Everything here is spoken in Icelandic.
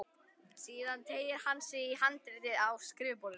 Síðan teygir hann sig í handritið á skrifborðinu.